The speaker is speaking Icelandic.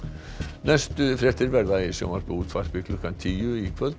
næstu fréttir verða í sjónvarpi og útvarpi klukkan tíu í kvöld